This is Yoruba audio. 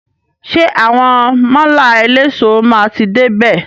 Ṣé àwọn málà eléso máa ti dé bè?